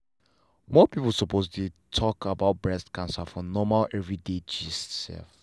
more people suppose dey dey talk about breast cancer for normal everyday gist.